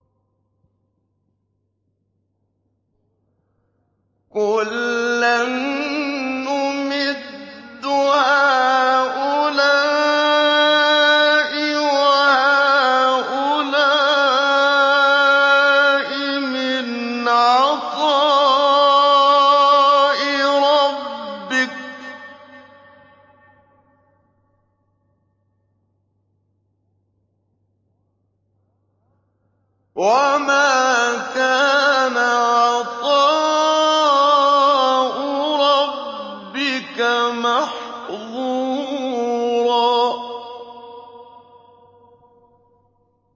كُلًّا نُّمِدُّ هَٰؤُلَاءِ وَهَٰؤُلَاءِ مِنْ عَطَاءِ رَبِّكَ ۚ وَمَا كَانَ عَطَاءُ رَبِّكَ مَحْظُورًا